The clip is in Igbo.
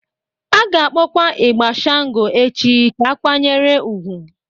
A ga-akpọkwa ịgbà Shango echi ka a kwanyere ugwu.